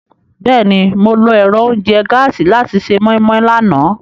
Bẹ́ẹ̀ni, Mo lo ẹ́rọ ounjẹ gàasi làti ṣe moi-moi làná.